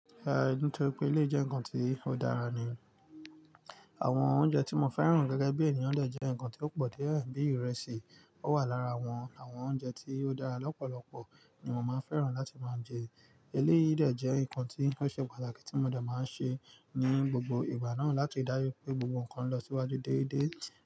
Nítorí pé eléyi jẹ́ nǹkan tí ó dára ni. Àwọn oúnjẹ tí mo fẹ́ràn gẹ́gẹ́ bí ènìyàn dé jẹ́ nǹkan tí ó pọ̀ díé, bí ìrẹsì. Ó wà lára àwọn oúnjẹ tí ó dára lọ́pọ̀lọpọ̀ ti mo máa ń fẹ́ràn láti máa jẹ. Eléyìí le dẹ́ jé nǹkan tí ó ṣe pàtàkì tí mo dá máa ń ṣe ní gbogbo ìgbà náà láti dájú pé gbogbo nǹkan lọ síwájú déédéé.